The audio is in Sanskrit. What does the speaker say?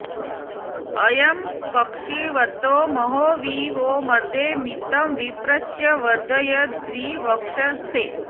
अ॒यं क॒क्षीव॑तो म॒हो वि वो॒ मदे॑ म॒तिं विप्र॑स्य वर्धय॒द्विव॑क्षसे